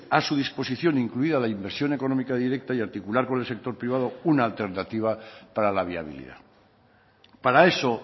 a su disposición incluida la inversión económica directa y articular con el sector privado una alternativa para la viabilidad para eso